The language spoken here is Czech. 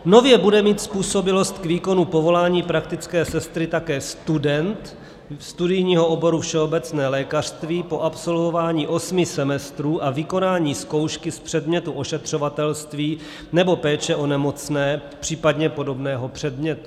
Nově bude mít způsobilost k výkonu povolání praktické sestry také student studijního oboru všeobecné lékařství po absolvování osmi semestrů a vykonání zkoušky z předmětu ošetřovatelství nebo péče o nemocné, případně podobného předmětu.